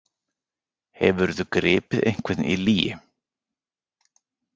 Hefurðu gripið einhvern í lygi?